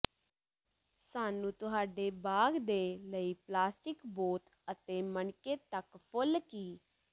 ਸਾਨੂੰ ਤੁਹਾਡੇ ਬਾਗ ਦੇ ਲਈ ਪਲਾਸਟਿਕ ਬੋਤ ਅਤੇ ਮਣਕੇ ਤੱਕ ਫੁੱਲ ਕੀ